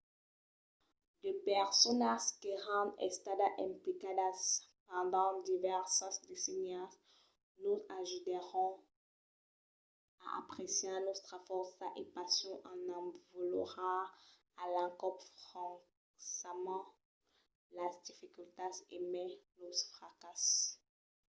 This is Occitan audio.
de personas qu’èran estadas implicadas pendent divèrsas decennias nos ajudèron a apreciar nòstras fòrças e passions en avalorar a l'encòp francament las dificultats e mai los fracasses